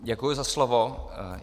Děkuji za slovo.